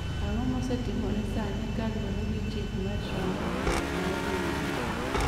Ang'o mosetimore sani kaluwore gi chik ma Trump ogolo mar geng'o wuoth?